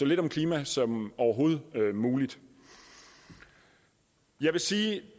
lidt om klima som overhovedet muligt jeg vil sige at